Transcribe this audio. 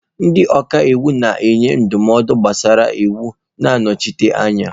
Ndị ọka iwu na-enye ndụmọdụ gbasara iwu na nnọchite anya.